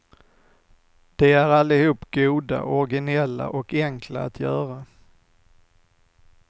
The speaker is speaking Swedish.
De är allihop goda, originella och enkla att göra.